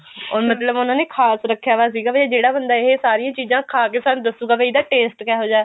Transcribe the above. ਉਹ ਮਤਲਬ ਉਹਨਾ ਨੇ ਖਾਸ ਰੱਖਿਆ ਵਿਆ ਸੀ ਵੀ ਜਿਹੜਾ ਬੰਦਾ ਇਹ ਸਾਰੀਆਂ ਚੀਜ਼ਾਂ ਖਾ ਕੇ ਸਾਨੂੰ ਦੱਸੂਗਾ ਵੀ ਇਹਦਾ taste ਕਿਹੋ ਜਿਹਾ